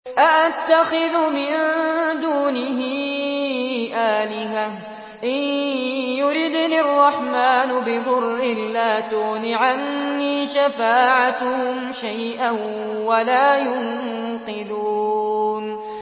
أَأَتَّخِذُ مِن دُونِهِ آلِهَةً إِن يُرِدْنِ الرَّحْمَٰنُ بِضُرٍّ لَّا تُغْنِ عَنِّي شَفَاعَتُهُمْ شَيْئًا وَلَا يُنقِذُونِ